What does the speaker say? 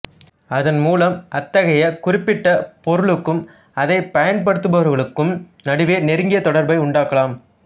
அதன் மூலம் அத்தகைய குறிப்பிட்ட பொருளுக்கும் அதை பயன்படுத்துபவர்களுக்கும் நடுவே நெருங்கிய தொடர்பை உண்டாக்கலாம்